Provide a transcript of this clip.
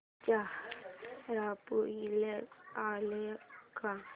चा स्पोईलर आलाय का